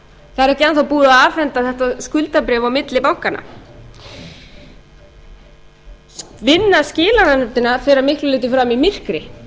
það er ekki enn þá búið að afhenda þetta skuldabréf á milli bankanna vinnan skilar fer að miklu leyti fram í myrkri